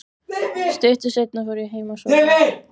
Stuttu seinna fór ég heim að sofa.